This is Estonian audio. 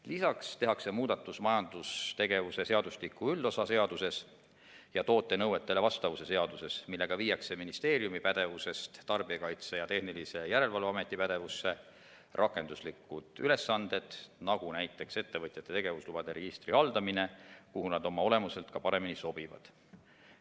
Lisaks tehakse muudatus majandustegevuse seadustiku üldosa seaduses ja toote nõuetele vastavuse seaduses, millega viiakse ministeeriumi pädevusest Tarbijakaitse ja Tehnilise Järelevalve Ameti pädevusse rakenduslikud ülesanded, nagu ettevõtjate tegevuslubade registri haldamine, mis oma olemuselt sinna paremini sobivad.